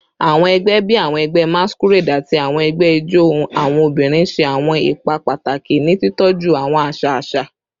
Awọn ẹgbẹ bii awọn ẹgbẹ masquerade ati awọn ẹgbẹ ijó awọn obinrin ṣe awọn ipa pataki ni titọju awọn aṣa aṣa